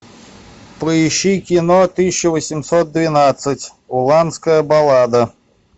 поищи кино тысяча восемьсот двенадцать уланская баллада